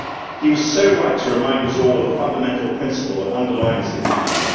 He was so right to remind us all of the fundamental principle that underlines the EU.